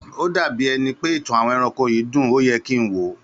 Ó dà bíi ẹni pé ìtàn àwọn ẹranko yìí dùn, óye kin wòó